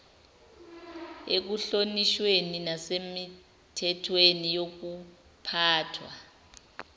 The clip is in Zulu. ekuhlonishweni nasemithethweni yokuphathwa